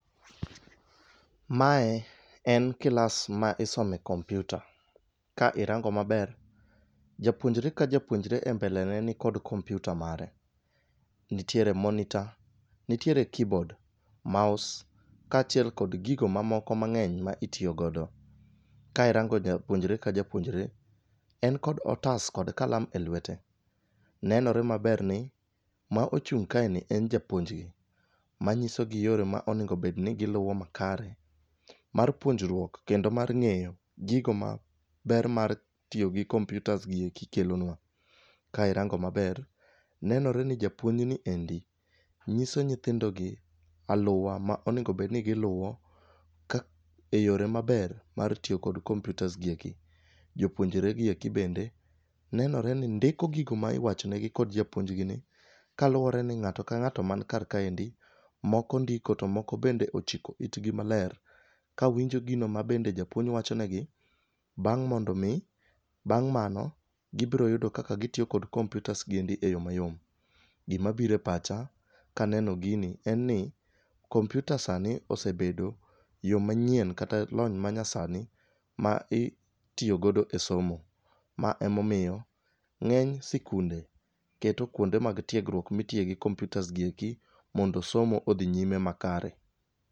Mae en kilas ma isome kompyuta. Ka irango maber, japuonjre ka japuonjre e mbele ne ni kod kompyuta mare. Nitiere monitor, nitiere keyboard, mouse ka achiel kod giko mamoko mang'eny ma itiyo godo. Ka irango japuonjre ka japuonjre, en kod otas kod kalam el lwete. Nenore maber ni, ma ochung' kae ni en japuonjgi, manyisogi yore ma onegi bedni giluwo makare, mar puonjruok kendo mar ng'eyo, gigo ma ber mar tiyo gi kompyutas gi eki kelonwa. Ka irango maber, nenore ni japuonjni endi, nyiso nyithindogi, aluwa ma onego bedni giluwo e yore maber mar tiyo gi kompyutas gi eki. Jopuonjregi eki bende, nenore ni ndiko gigo ma iwachonegi kod japuonjgi ni, kaluwore ni ng'ato ka ng'ato mani kar kaendi, moko ndiko to moko bende ochiko itgi maler, kawinjo gino ma bende japuonjgi wachonegi, bang' mondo omi, bang' mano, gibro yudo kaka gitiyo kod kompyutas gi e yo mayom. Gi mabiro e pacha, kaneno gini en ni, kompyuta sani osebedo yo manyien kata lony manyasani, ma itiyo godo e somo. Ma emomiyo, ng'eny sikunde keto kuonde mag tiegruok mitiye gi kompyutas gi eki mondo somo odhi nyime makare.